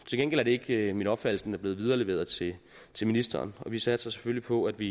gengæld er det ikke min opfattelse at den er blevet videreleveret til til ministeren vi satser selvfølgelig på at vi